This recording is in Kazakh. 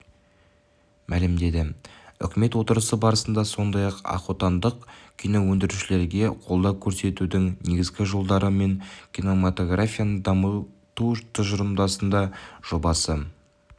мәлімдеді үкімет отырысы барысында сондай-ақотандық киноөндірушілерге қолдау көрсетудің негізгі жолдары мен кинематографияны дамыту тұжырымдамасының жобасы